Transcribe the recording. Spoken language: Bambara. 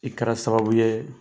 I kɛra sababu ye